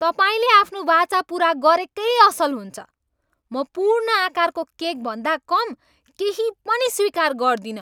तपाईँले आफ्नो वाचा पुरा गरेकै असल हुन्छ। म पूर्ण आकारको केकभन्दा कम केही पनि स्वीकार गर्दिनँ।